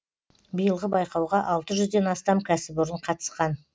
биылғы байқауға алты жүзден астам кәсіпорын қатысқан